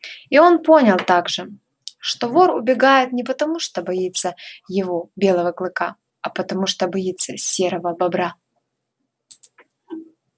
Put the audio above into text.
и он понял также что вор убегает не потому что боится его белого клыка а потому что боится серого бобра